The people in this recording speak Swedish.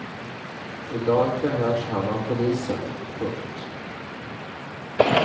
I dag förhörs han av polisen. punkt